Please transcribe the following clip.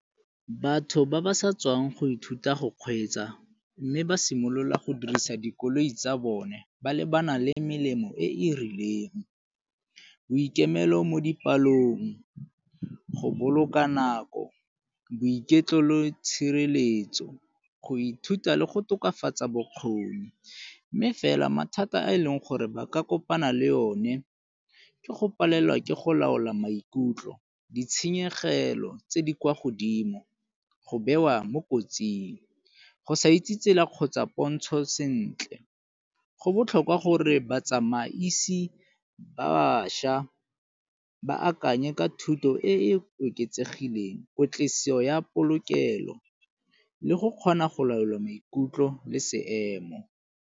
Batho ba ba sa tswang go ithuta go kgweetsa mme ba simolola go dirisa dikoloi tsa bone ba lebana le melemo e e rileng, boikemelo mo dipalong, go boloka nako, boiketlo le tshireletso go ithuta le go tokafatsa bokgoni. Mme fela mathata a e leng gore ba ka kopana le one ke go palelwa ke go laola maikutlo, ditshenyegelo tse di kwa godimo, go bewa mo kotsing, go sa itse tsela kgotsa pontsho sentle. Go botlhokwa gore ba tsamaisi ba bašwa ba akanye ka thuto e e oketsegileng ya polokelo le go kgona go laola maikutlo le seemo.